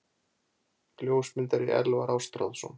Ljósmyndari: Elvar Ástráðsson.